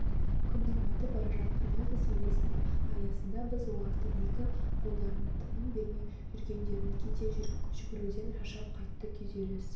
күннің батып бара жатқан әлсіз сәулесінің аясында біз олардың екі қолдарына тыным бермей жүгіргендерін кейде жүгіруден шаршап қатты күйзеліс